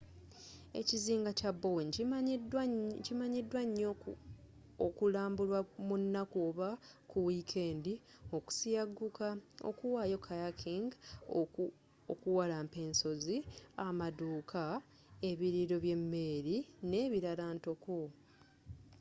ekizinga kya bowen kimanyidwa nyoo okulambulwa munaku oba ku wiikendi okusiyagguka okuwayo kayaking okuwalampa ensozi amaduuka ebiriiro by'emmere nebirala ntoko